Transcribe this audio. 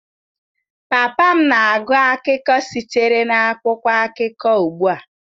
Papa m na-agụ akụkọ sitere n'akwụkwọ akụkọ ugbua.